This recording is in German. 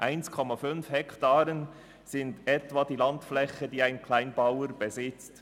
1,5 Hektaren entsprechen etwa der Landfläche, die ein Kleinbauer durchschnittlich besitzt.